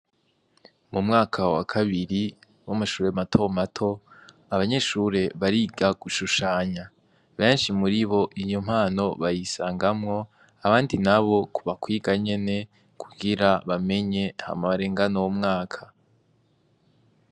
Mu mwaka wa kabiri w'amashuri mato mato abanyeshure bariga gushushanya benshi muri bo iyo mpano bayisangamo abandi nabo kuba kwiga nyene kugira bamenye hama barengane uwo mwaka.